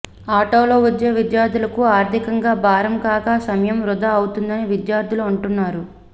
ఆటోలో వచ్చే విద్యార్థులకు ఆర్థికంగా భారం కాగా సమయం వృధా అవుతుందని విద్యార్థులు అంటున్నారు